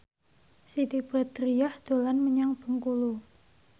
Siti Badriah dolan menyang Bengkulu